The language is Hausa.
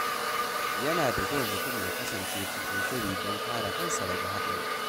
Yana da kyau mutum ya kasance cikin shiri don kare kansa daga haɗari.